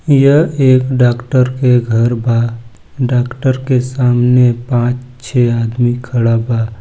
यह एक डॉक्टर का घर ब डाक्टर के सामने पांच छः आदमी खड़ा ब--